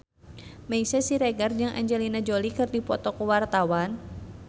Meisya Siregar jeung Angelina Jolie keur dipoto ku wartawan